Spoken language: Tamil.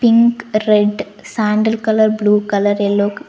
Pink red sandal colour blue colour yellow க-- .